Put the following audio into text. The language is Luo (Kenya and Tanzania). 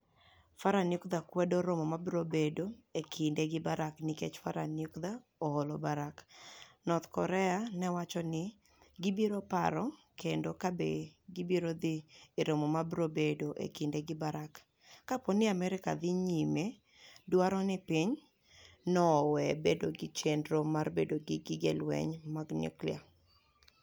Farah niukdha kwedo romo ma biro bedo e kinide giBarak niikech Farah niukdha oHoloBarak, north Korea ni e owacho nii gibiro paro kenido kabe gibiro dhi e romo ma biro bedo e kinide giBarak, ka po nii Amerka dhi niyime dwaro nii piny no owe bedo gi cheniro mar bedo gi gige lweniy mag niyuklia.